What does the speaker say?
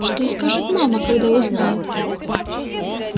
что скажет мама когда узнает